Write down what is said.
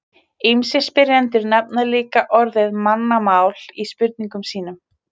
ýmsir spyrjendur nefna líka orðið mannamál í spurningum sínum